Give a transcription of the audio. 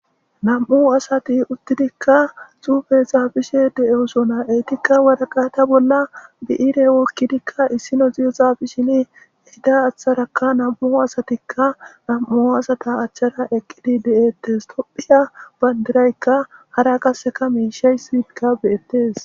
nam7u asati uttidikka xuufe xaafishe deeosona eetikka wadaqata bolla bi7ire wokkidikka issino ziyexaafishini eida achtharakka nam7u asatikka nam7u asata achchara eqqidi de7ettes tophiya bandiraykka hara qasseka miishay siiidga beyettes